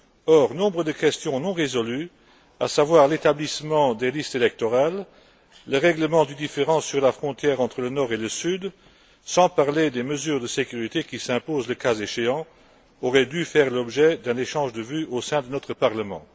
Or, nombre de questions non résolues, à savoir l'établissement des listes électorales, le règlement du différend sur la frontière entre le Nord et le Sud, sans parler des mesures de sécurité qui s'imposent, le cas échéant, auraient dû faire l'objet d'un échange de vues au sein de notre Parlement.